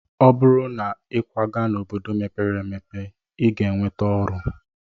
Ọ bụrụ na ịkwaga n'obodo mepere emepe, ị ga-enweta ọrụ.